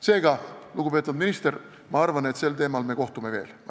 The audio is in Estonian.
Seega, lugupeetud minister, ma arvan, et selle teema arutamiseks me kohtume veel.